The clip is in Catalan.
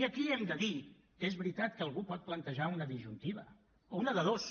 i aquí hem de dir que és veritat que algú pot plantejar una disjuntiva o una de dos